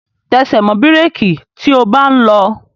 Tẹsẹ̀ mọ́ bírèki tí o bá ń lọ!